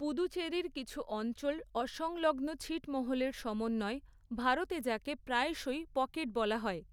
পুদুচেরির কিছু অঞ্চল অসংলগ্ন ছিটমহলের সমন্বয়, ভারতে যাকে প্রায়শই পকেট বলা হয়।